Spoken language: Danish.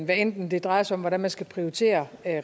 hvad enten det drejer sig om hvordan man skal prioritere